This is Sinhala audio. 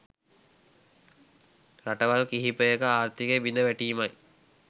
රටවල් කිහිපයක ආර්ථිකය බිඳ වැටීමයි.